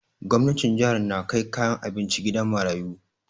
Gwamnatin jihar na kai kayan abinci gidan marayu